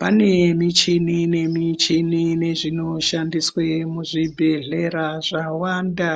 Pane michini nemichini nezvinoshandiswa muzvibhedhlera zvawanda